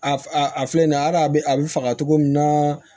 A a filɛ nin ye hali a bɛ a bɛ faga cogo min na